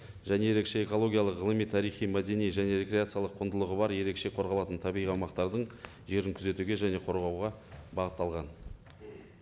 және ерекше экологиялық ғылыми тарихи мәдени және рекреациялық құндылығы бар ерекше қорғалатын табиғи аумақтардың жерін күзетуге және қорғауға бағытталған